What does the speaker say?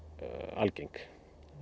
algeng